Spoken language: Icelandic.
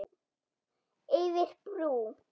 Yfir brú.